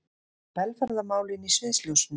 Velferðarmálin í sviðsljósinu